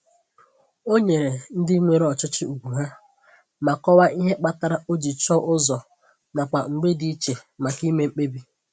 O nyere ndị nwere ọchịchị ugwu ha, ma kọwaa ihe kpatara o ji chọọ ụzọ nakwa mbge dị iche maka ime mkpebi.